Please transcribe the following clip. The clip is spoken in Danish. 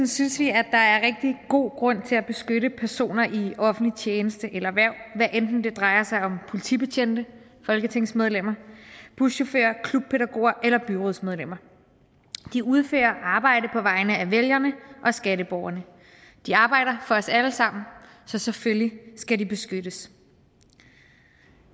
synes vi at der er rigtig god grund til at beskytte personer i offentlig tjeneste eller hverv hvad enten det drejer sig om politibetjente folketingsmedlemmer buschauffører klubpædagoger eller byrådsmedlemmer de udfører et arbejde på vegne af vælgerne og skatteborgerne de arbejder for os alle sammen så selvfølgelig skal de beskyttes